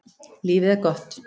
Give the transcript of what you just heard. Lífið er gott.